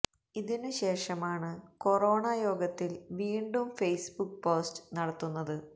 ഇതിനു ശേഷമാണ് കൊറോണ യോഗത്തിൽ വീണ്ടും ഫെയ്സ് ബുക്ക് പോസ്റ്റ് നടത്തുന്നത്